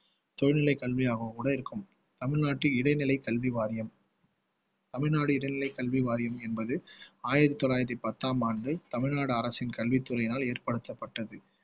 தொழில்நிலை கல்வியாகவோ கூட இருக்கும் தமிழ்நாட்டில் இடைநிலை கல்வி வாரியம் தமிழ்நாடு இடைநிலை கல்வி வாரியம் என்பது ஆயிரத்தி தொள்ளாயிரத்தி பத்தாம் ஆண்டு தமிழ்நாடு அரசின் கல்வித் துறையினால் ஏற்படுத்தப்பட்டது